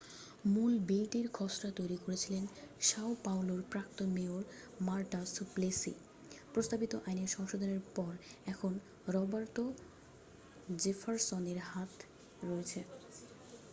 মূল বিলটির খসড়া তৈরি করেছিলেন সাও পাওলোর প্রাক্তন মেয়র মারটা সুপ্লেসি প্রস্তাবিত আইন সংশোধনের পর এখন রবার্তো জেফার্সনের হাতে রয়েছে